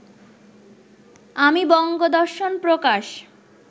আমি বঙ্গদর্শন প্রকাশ